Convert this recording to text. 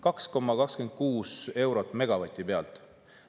2,26 eurot megavati pealt.